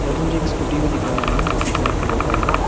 मुझे एक स्कूटी भी दिख रहा है जो कि ब्लैक कलर का है।